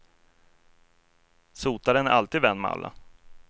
Sotaren är alltid vän med alla.